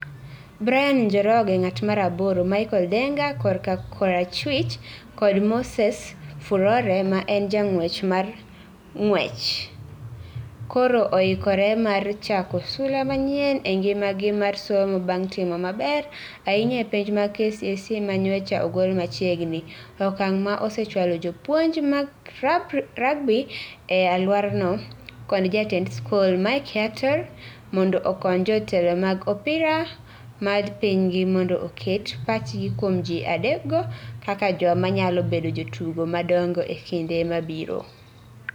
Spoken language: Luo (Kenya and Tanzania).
Brian Njoroge (ng'at mar aboro), Michael Denga (korka korachwich) kod Moses Furore ma en jang'wech mar ng'wech, koro oikore mar chako sula manyien e ngimagi mar somo bang' timo maber ahinya e penj mag KCSE ma nyocha ogol machiegni, okang' ma osechwalo japuonj mar rugby e alworano kod jatend skul, Mike Yator, mondo okony jotelo mag opira mar pinygi mondo oket pachgi kuom ji adekgo kaka joma nyalo bedo jotugo madongo e kinde mabiro.